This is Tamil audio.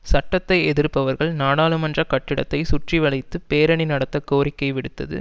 சட்டத்தை எதிர்ப்பவர்கள் நாடாளுமன்ற கட்டிடத்தை சுற்றி வளைத்து பேரணி நடத்த கோரிக்கை விடுத்தது